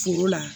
Foro la